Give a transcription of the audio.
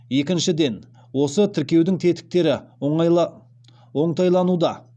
екіншіден осы тіркеудің тетіктері оңтайлануда